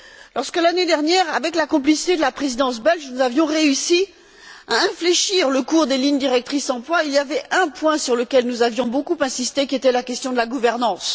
Lorsque l'année dernière, avec la complicité de la Présidence belge, nous avions réussi à infléchir le cours des lignes directrices pour l'emploi, il y avait un point sur lequel nous avions beaucoup insisté, qui était la question de la gouvernance.